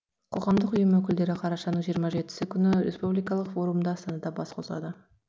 қоғамдық ұйым өкілдері қарашаның жиырма жетісі күні республикалық форумда астанада бас қосады